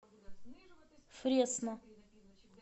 фресно